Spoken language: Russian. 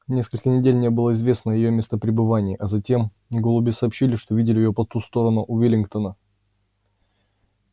несколько недель не было известно о её местопребывании а затем голуби сообщили что видели её по ту сторону уиллингдона